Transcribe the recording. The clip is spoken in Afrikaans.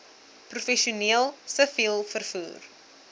professioneel siviel vervoer